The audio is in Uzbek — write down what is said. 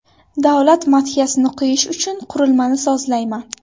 Davlat madhiyasini qo‘yish uchun qurilmani sozlayman.